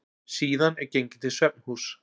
Síðan er gengið til svefnhúss.